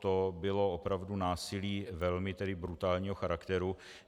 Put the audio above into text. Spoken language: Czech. To bylo opravdu násilí velmi brutálního charakteru.